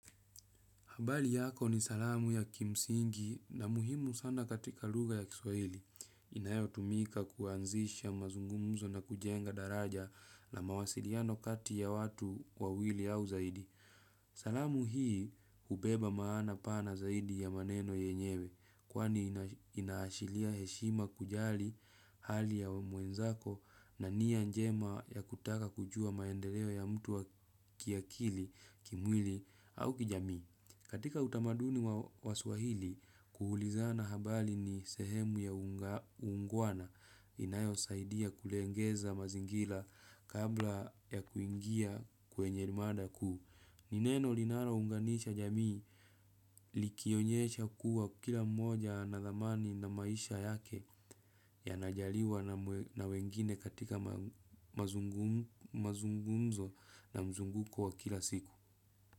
Habari yako ni salamu ya kimsingi na muhimu sana katika lugha ya kiswahili. Inayotumika kuanzisha mazungumzo na kujenga daraja na mawasiliano kati ya watu wawili au zaidi. Salamu hii hubeba maana pana zaidi ya maneno yenyewe. Kwani inaashiria heshima kujali hali ya mwenzako na nia njema ya kutaka kujua maendeleo ya mtu wa kiakili kimwili au kijamii. Katika utamaduni wa waswahili, kuulizana habari ni sehemu ya uungwana inayo saidia kulegeza mazingira kabla ya kuingia kwenye mada kuu. Nin eno linalo unganisha jamii likionyesha kuwa kila mmoja ana dhamani na maisha yake yanajaliwa na wengine katika mazungumzo na mzunguko wa kila siku.